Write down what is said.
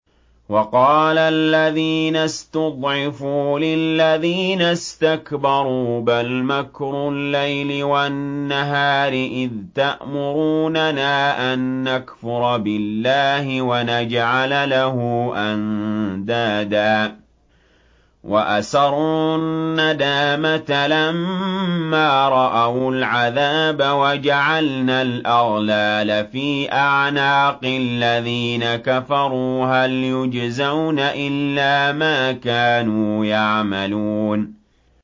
وَقَالَ الَّذِينَ اسْتُضْعِفُوا لِلَّذِينَ اسْتَكْبَرُوا بَلْ مَكْرُ اللَّيْلِ وَالنَّهَارِ إِذْ تَأْمُرُونَنَا أَن نَّكْفُرَ بِاللَّهِ وَنَجْعَلَ لَهُ أَندَادًا ۚ وَأَسَرُّوا النَّدَامَةَ لَمَّا رَأَوُا الْعَذَابَ وَجَعَلْنَا الْأَغْلَالَ فِي أَعْنَاقِ الَّذِينَ كَفَرُوا ۚ هَلْ يُجْزَوْنَ إِلَّا مَا كَانُوا يَعْمَلُونَ